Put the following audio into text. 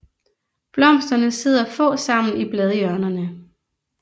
Blomsterne sidder få sammen i bladhjørnerne